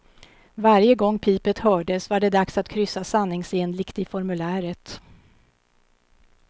Varje gång pipet hördes, var det dags att kryssa sanningsenligt i formuläret.